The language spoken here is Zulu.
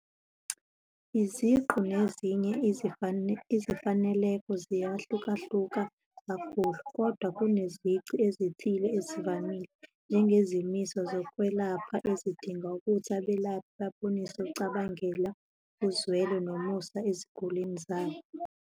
Iziqu nezinye izifaneleko ziyahlukahluka kakhulu, kodwa kunezici ezithile ezivamile, njengezimiso zezokwelapha ezidinga ukuthi abelaphi babonise ukucabangela, uzwela, nomusa ezigulini zabo.